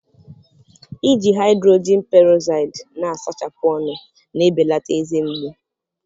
Iji haịdrojin perozaịdị na-asachapụ ọnụ na-ebelata eze mgbu